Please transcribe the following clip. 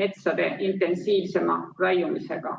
metsade intensiivsema raiumisega?